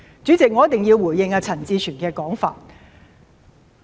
主席，我一定要回應陳志全議員的說法。